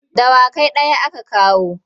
Dawa kai ɗaya aka kawo.